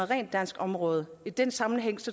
rent dansk område i den sammenhæng